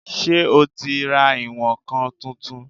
Ṣé o ti ra ìwọ̀n-ǹkan tuntun?